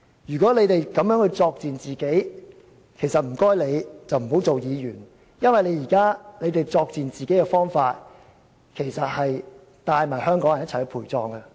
如果他們要如此作賤自己，請他們不要當議員，因為他們現在作賤自己的方式，其實會帶同香港人一起陪葬。